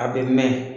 A bɛ mɛn